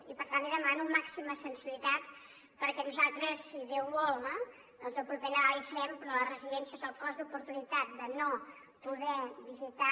i per tant li demano màxima sensibilitat perquè nosaltres si déu vol no doncs el proper nadal hi serem però a les residències el cost d’oportunitat de no poder visitar